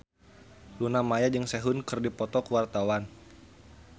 Luna Maya jeung Sehun keur dipoto ku wartawan